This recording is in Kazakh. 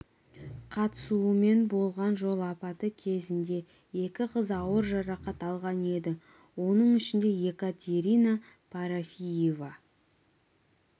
қатысуымен болған жол апаты кезінде екі қыз ауыр жарақат алған еді оның ішінде екатерина парафиева